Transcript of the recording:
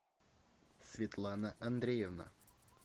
светлана андреевна